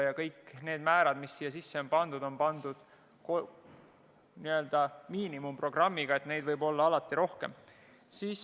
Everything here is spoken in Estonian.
Ja kõik need määrad, mis jutuks on, on n-ö miinimumprogrammi määrad – neid võib alati rohkem olla.